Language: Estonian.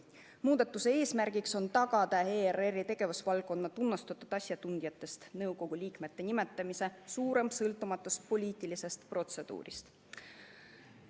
Muudatuse eesmärk on tagada ERR-i tegevusvaldkonna tunnustatud asjatundjatest nõukogu liikmete nimetamisel suurem sõltumatus poliitilisest protseduurist.